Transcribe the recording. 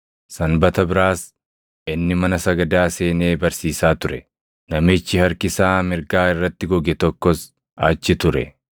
Sanbata biraas inni mana sagadaa seenee barsiisaa ture; namichi harki isaa mirgaa irratti goge tokkos achi ture.